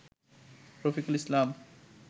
Rafiqul Islam